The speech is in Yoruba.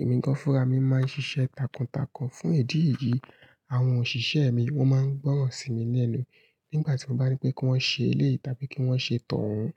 Ẹ̀mi gán furami máa ń ṣiṣẹ́ takuntakun fún ìdí yii, àwọn òṣìṣẹ́ mi wọ́n máa ń gbọ́ràn sí mi ni ẹnu nígbà tí mo bá nipé kí wọ́n ṣe eléyiì tábí kí wọ́n ṣe t'ọ̀hún.